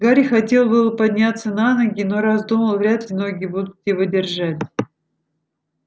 гарри хотел было подняться на ноги но раздумал вряд ли ноги будут его держать